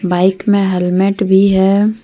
Bike में helmet भी है।